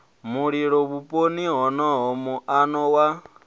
mulilo vhuponi honoho muano wa